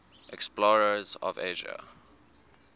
explorers of asia